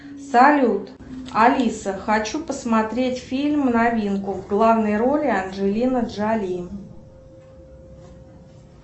салют алиса хочу посмотреть фильм новинку в главной роли анджелина джоли